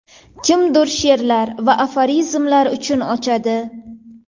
Kimdir she’rlar va aforizmlar uchun ochadi.